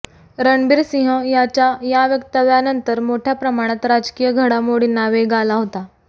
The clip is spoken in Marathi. रणबीर सिंह यांच्या या वक्तव्यानंतर मोठ्या प्रमाणात राजकीय घडामोडींना वेग आला होता